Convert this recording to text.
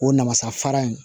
O namasafara in